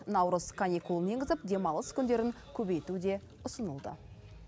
наурыз каникулын енгізіп демалыс күндерін көбейту де ұсынылды